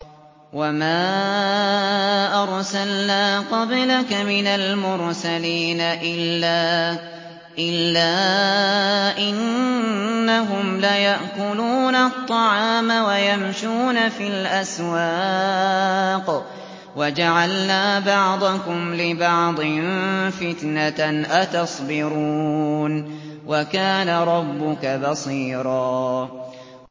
وَمَا أَرْسَلْنَا قَبْلَكَ مِنَ الْمُرْسَلِينَ إِلَّا إِنَّهُمْ لَيَأْكُلُونَ الطَّعَامَ وَيَمْشُونَ فِي الْأَسْوَاقِ ۗ وَجَعَلْنَا بَعْضَكُمْ لِبَعْضٍ فِتْنَةً أَتَصْبِرُونَ ۗ وَكَانَ رَبُّكَ بَصِيرًا